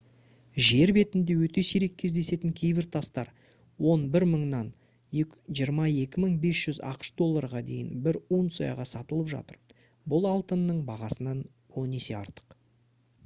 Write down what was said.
жер бетінде өте сирек кездесетін кейбір тастар 11000-нан 22500 ақш долларға дейін бір унцияға сатылып жатыр бұл алтынның бағасынан он есе артық